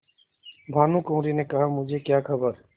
भानुकुँवरि ने कहामुझे क्या खबर